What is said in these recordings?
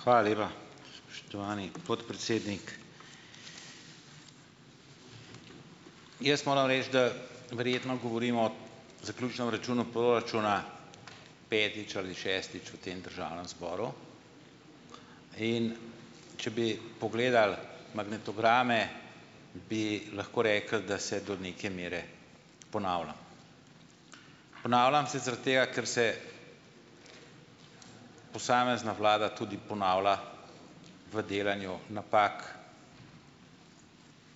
Hvala lepa, spoštovani podpredsednik. Jaz moram reči, da verjetno govorimo zaključnem računu proračuna petič ali šestič v tem državnem zboru. In če bi pogledali magnetograme, bi lahko rekli, da se do neke mere ponavljam. Ponavljam se zaradi tega, ker se posamezna vlada tudi ponavlja v delanju napak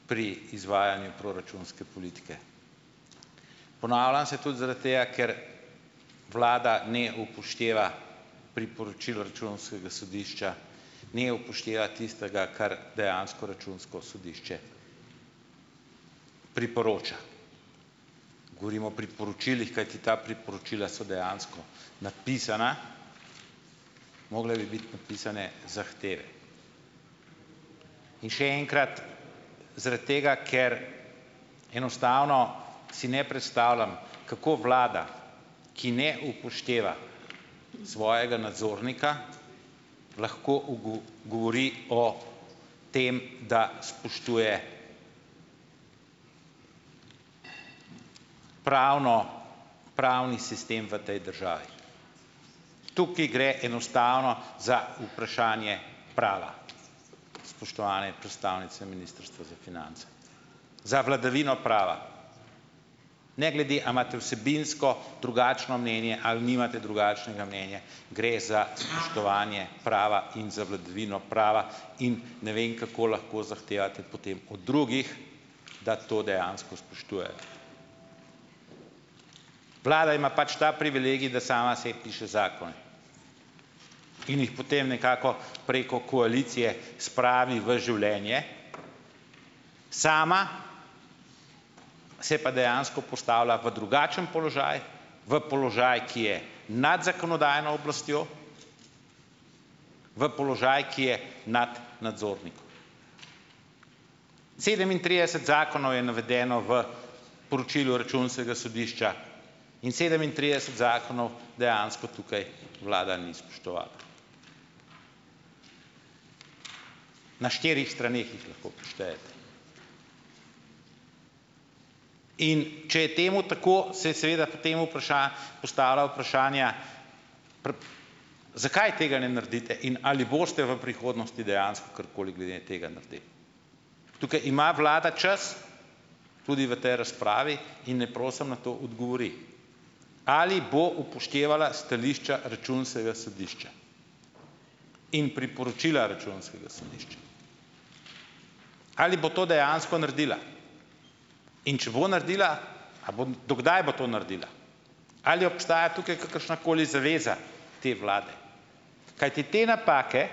pri izvajanju proračunske politike. Ponavljam se tudi zaradi tega, ker vlada ne upošteva priporočil Računskega sodišča, ne upošteva tistega, kar dejansko Računsko sodišče priporoča. Govorim o priporočilih. Kajti ta priporočila so dejansko napisana, mogle bi biti napisane zahteve. In še enkrat, zaradi tega, ker enostavno si ne predstavljam, kako vlada, ki ne upošteva svojega nadzornika, lahko govori o tem, da spoštuje pravno pravni sistem v tej državi. Tukaj gre enostavno za vprašanje prava. Spoštovane predstavnice Ministrstva za finance. Za vladavino prava. Ne glede, a imate vsebinsko drugačno mnenje ali nimate drugačnega mnenja, gre za spoštovanje prava in za vladavino prava. In ne vem, kako lahko zahtevate potem od drugih, da to dejansko spoštujejo. Vlada ima pač ta privilegij, da sama sebi piše zakon, in jih potem nekako preko koalicije spravi v življenje. Sama se pa dejansko postavlja v drugačen položaj, v položaj, ki je nad zakonodajno oblastjo, v položaj, ki je nad nadzornikom. Sedemintrideset zakonov je navedeno v poročilu računskega sodišča in sedemintrideset zakonov dejansko tukaj vlada ni spoštovala. Na štirih straneh jih lahko preštejete. In če je temu tako, se seveda k temu vpraša, postavlja vprašanja, zakaj tega ne naredite in ali boste v prihodnosti dejansko karkoli glede tega naredili? Tukaj ima vlada čas tudi v tej razpravi in naj prosim na to odgovori, ali bo upoštevala stališča Računskega sodišča in priporočila Računskega sodišča. Ali bo to dejansko naredila? In če bo naredila, a bo, do kdaj bo to naredila? Ali obstaja tukaj kakršnakoli zaveza te vlade? Kajti te napake,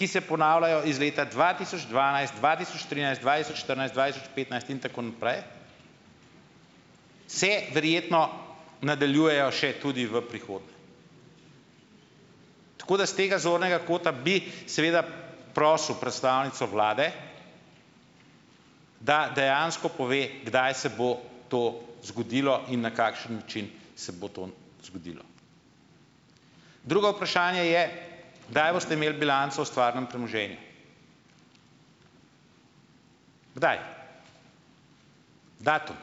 ki se ponavljajo iz leta dva tisoč dvanajst, dva tisoč trinajst, dva tisoč štirinajst, dva tisoč petnajst, in tako naprej, se verjetno nadaljujejo še tudi v prihodnje. Tako da s tega zornega kota bi, seveda prosil predstavnico vlade, da dejansko pove, kdaj se bo to zgodilo in na kakšen način se bo to zgodilo. Drugo vprašanje je, kdaj boste imeli bilanco o stvarnem premoženju? Kdaj? Datum?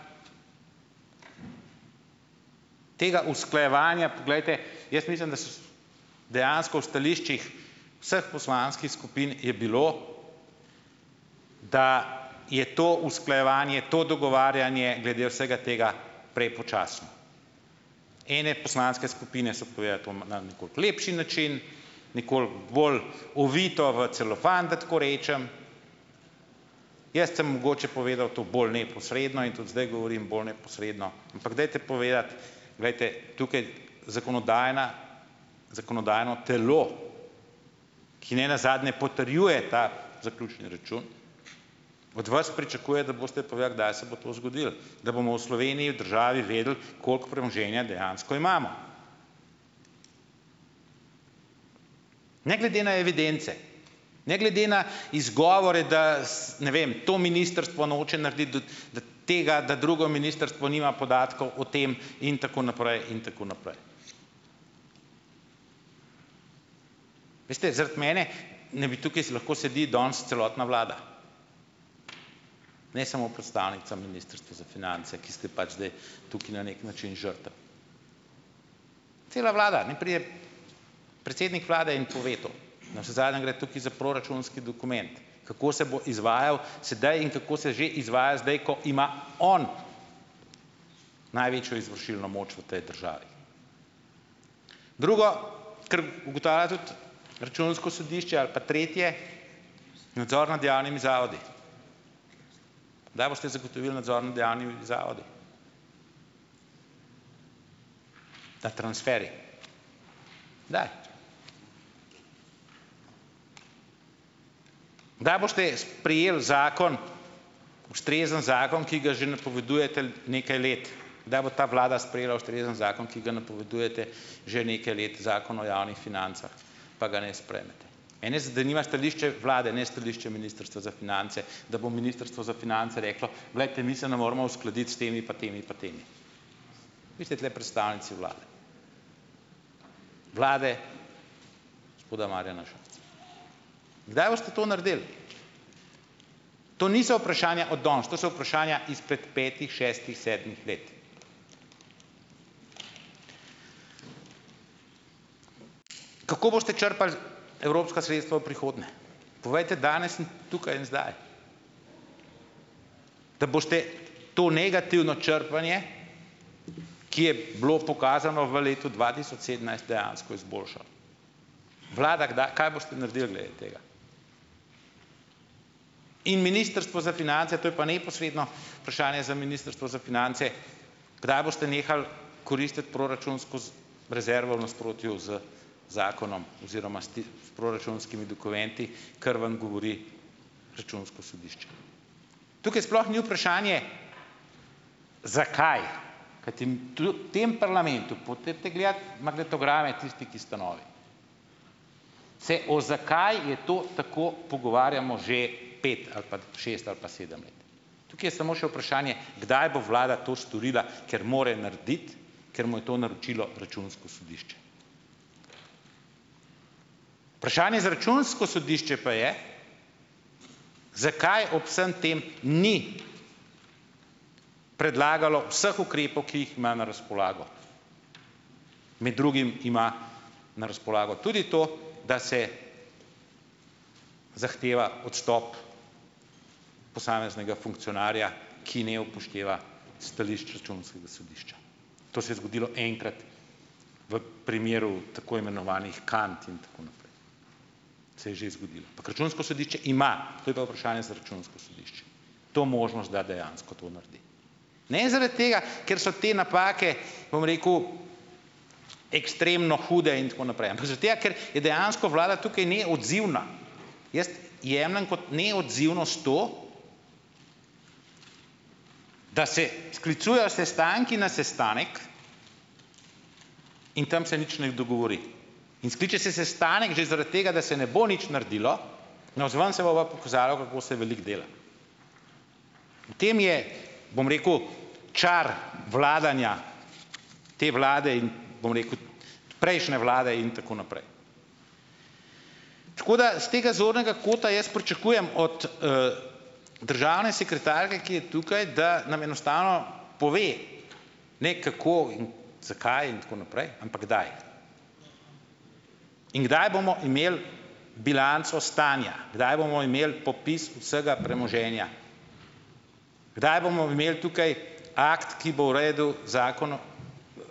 Tega usklajevanja, poglejte, jaz mislim, da dejansko v stališčih vseh poslanskih skupin je bilo, da je to usklajevanje, to dogovarjanje glede vsega tega prepočasno. Ene poslanske skupine so povečale to ma na nekoliko lepši način, nekoliko bolj ovito v celofan, da tako rečem, jaz sem mogoče povedal to bolj neposredno in tudi zdaj govorim bolj neposredno, ampak dajte povedati. Glejte, tukaj, zakonodajna, zakonodajno telo, ki nenazadnje potrjuje ta zaključni račun, od vas pričakuje, da boste povedali, kdaj se bo to zgodilo. Da bomo v Sloveniji, državi, vedeli, koliko premoženja dejansko imamo. Ne glede na evidence, ne glede na izgovore, da ne vem, to ministrstvo noče narediti, tega, da drugo ministrstvo nima podatkov o tem, in tako naprej in tako naprej. Veste, zaradi mene ne bi tukaj, s lahko sedi danes celotna vlada, ne samo predstavnica Ministrstva za finance, ki ste pač zdaj tukaj na nek način žrtev. Cela vlada, naj pride predsednik vlade in pove to, navsezadnje gre tukaj za proračunski dokument, kako se bo izvajal sedaj in kako se že izvaja zdaj, ko ima on največjo izvršilno moč v tej državi. Drugo, kar ugotavlja tudi Računsko sodišče, ali pa tretje, nadzor nad javnimi zavodi. Kdaj boste zagotovili nadzor nad javnimi zavodi? Ta transferij kdaj? Kdaj boste sprejeli zakon, ustrezen zakon, ki ga že napovedujete nekaj let, kdaj bo ta vlada sprejela ustrezen zakon, ki ga napovedujete že nekaj let - Zakon o javnih financah, pa ga ne sprejmete. Mene zanima stališče vlade, ne stališče Ministrstva za finance, da bo Ministrstvo za finance reklo: "Glejte, mi se ne moremo uskladiti s temi pa temi pa temi." Vi ste tule predstavnici vlade, vlade gospoda Marjana Šarca. Kdaj boste to naredili? To niso vprašanja od danes, to so vprašanja izpret petih, šestih, sedmih let. Kako boste črpali evropska sredstva v prihodnje? Povejte danes in tukaj in zdaj. Da boste to negativno črpanje, ki je bilo pokazano v letu dva tisoč sedemnajst, dejansko izboljšali. Vlada, kdaj, kaj boste naredili glede tega? In Ministrstvo za finance, to je pa neposredno vprašanje za Ministrstvo za finance, kdaj boste nehali koristiti proračun skozi rezervo v nasprotju z zakonom oziroma s ti, s proračunskimi dokumenti, kar vam govori računsko sodišče. Tukaj sploh ni vprašanje, zakaj, kajti tlu tem parlamentu, po tejte gledat magnetograme tisti, ki ste novi, se o "zakaj je to tako" pogovarjamo že pet ali pa šest ali pa sedem let. Tukaj je samo še vprašanje, kdaj bo vlada to storila, ker mora narediti, ker mu je to naročilo računsko sodišče? Vprašanje za računsko sodišče pa je, zakaj ob vsem tem ni predlagalo vseh ukrepov, ki jih ima na razpolago, med drugim ima na razpolago tudi to, da se zahteva odstop posameznega funkcionarja, ki ne upošteva stališč računskega sodišča. To se je zgodilo enkrat v primeru tako imenovanih kant in tako naprej. Se je že zgodilo, ampak računsko sodišče ima, to je pa vprašanje za računsko sodišče, to možnost, da dejansko to naredi. Ne zaradi tega, ker so te napake, bom rekel, ekstremno hude in tako naprej, ampak zaradi tega, ker je dejansko vlada tukaj neodzivna. Jaz jemljem kot neodzivnost to, da se sklicujejo sestanki na sestanek, in tam se nič ne dogovori. In skliče se sestanek že zaradi tega, da se ne bo nič naredilo, navzven se bo pa pokazalo, kako se veliko dela. V tem je, bom rekel, čar vladanja te vlade in bom rekel tudi prejšnje vlade in tako naprej. Tako da s tega zornega kota jaz pričakujem od državne sekretarke, ki je tukaj, da nam enostavno pove, ne kako in zakaj in tako naprej, ampak kdaj. In kdaj bomo imeli bilanco stanja, kdaj bomo imeli popis vsega premoženja, kdaj bomo imeli tukaj akt, ki bo v redu zakon o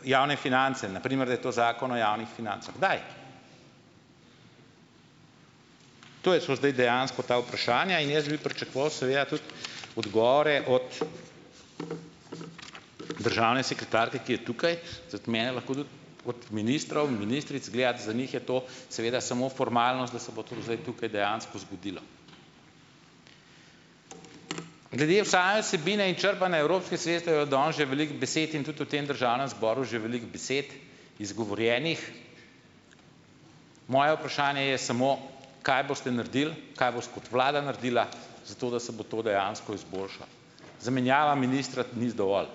javne finance, na primer, da je to Zakon o javnih financah. Kdaj? To je šlo zdaj dejansko ta vprašanja in jaz bi pričakoval seveda tudi odgovore od državne sekretarke, ki je tukaj, zaradi mene lahko tudi od ministrov in ministric gledati, za njih je to seveda samo formalnost, da se bo to zdaj tukaj dejansko zgodilo. Glede v same vsebine in črpanja evropskih sredstev je danes že veliko besed in tudi v tem Državnem zboru že veliko besed izgovorjenih. Moje vprašanje je samo: "Kaj boste naredili, kaj bo s kot vlada naredila za to, da se bo to dejansko izboljšalo?" Zamenjava ministra ni z dovolj.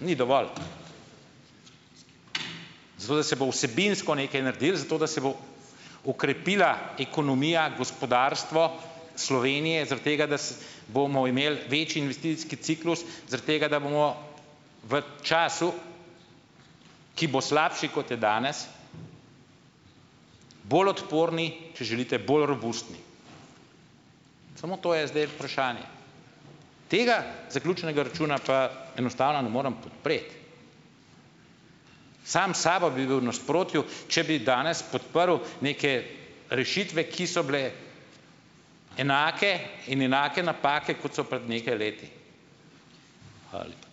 Ni dovolj. Zato, da se bo vsebinsko nekaj naredilo, zato da se bo okrepila ekonomija, gospodarstvo Slovenije, zaradi tega, da s bomo imeli večji investicijski ciklus, zaradi tega, da bomo v času, ki bo slabši, kot je danes, bolj odporni, če želite, bolj robustni. Samo to je zdaj vprašanje. Tega zaključnega računa pa enostavno ne morem podpreti. Sam sabo bi bil v nasprotju, če bi danes podprl neke rešitve, ki so bile enake in enake napake, kot so pred nekaj leti. Hvala lepa.